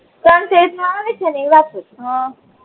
સંસીલ્ક માં આવે છે એ વાપરું ચુ હમ